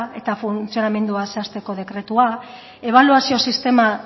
eta funtzionamendua zehazteko dekretua ebaluazio sistema